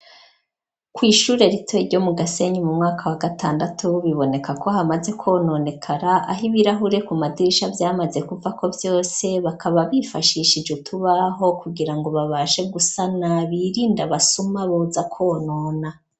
kw'ishure rito ryo mu gasenyi mu mwaka wa gatandatu biboneka ko hamaze kononekara aho ibirahure ku madirisha vyamaze kuvako vyose bakaba bifashishije utubaho kugira ngo babashe gusana birinda basuma boza konona